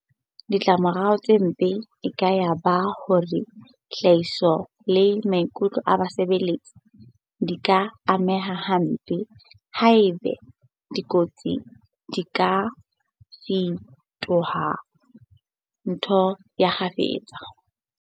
Ditlamorao tse mpe e ka ya ba hore tlhahiso le maikutlo a basebeletsi di ka ameha hampe haeba dikotsi di ka fetoha ntho ya kgafetsa.